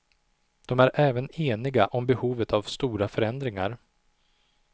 De är även eniga om behovet av stora förändringar.